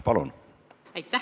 Palun!